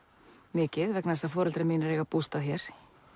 mikið vegna þess að foreldrar mínir eiga bústað hér